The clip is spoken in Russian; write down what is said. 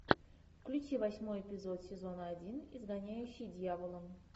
включи восьмой эпизод сезона один изгоняющий дьявола